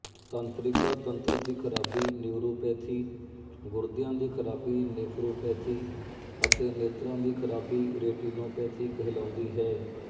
ਤੰਤਰਿਕਾਤੰਤਰ ਦੀ ਖਰਾਬੀ ਨਿਊਰੋਪੈਥੀ ਗੁਰਦੀਆਂ ਦੀ ਖਰਾਬੀ ਨੇਫਰੋਪੈਥੀ ਅਤੇ ਨੇਤਰਾਂ ਦੀ ਖਰਾਬੀ ਰੇਟੀਨੋਪੈਥੀਕਹਿਲਾਉਂਦੀ ਹੈ